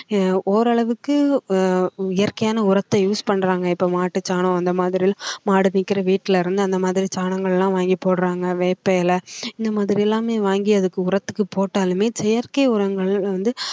எர் ஓரளவுக்கு அஹ் இயற்கையான உரத்தை use பண்றாங்க இப்போ மாட்டுச்சாணம் அந்த மாதிரி மாடு நிக்குற வீட்டில இருந்து அந்த மாதிரி சாணங்கள் எல்லாம் வாங்கி போடுறாங்க வேப்ப இலை இந்த மாதிரி எல்லாமே வாங்கி அதுக்கு உரத்துக்கு போட்டாலுமே செயற்கை உரங்கள் வந்து